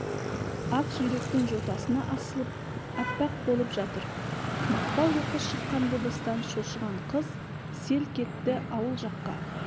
ақиректің жотасына асылып аппақ болып жатыр мақпал оқыс шыққан дыбыстан шошыған қыз селк етті ауыл жаққа